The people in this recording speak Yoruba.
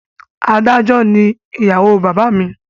Adájọ́ ni ìyàwó bàbá mi